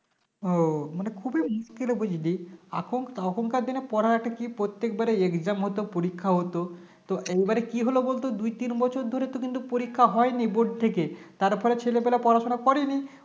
ও মানে খুবই মুশকিল বুঝলি এখন তখন দিনে দিনে পড়া একটা একটা কি প্রত্যেকবারে Exam হত পরীক্ষা হত তো এইবারে কি হল বলতো দুই তিন বছর ধরে তো কিন্তু পরীক্ষা হয়নি bord থেকে তার ওপরে ছেলেপেলে পড়াশোনা করেনি